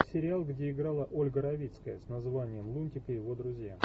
сериал где играла ольга равицкая с названием лунтик и его друзья